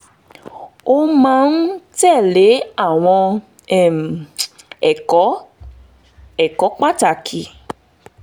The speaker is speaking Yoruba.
mo máa ń tẹ̀ lé àwọn um ẹ̀kọ́ ẹ̀kọ́ pàtàkì